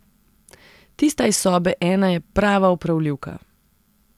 Tista iz sobe ena je prava opravljivka.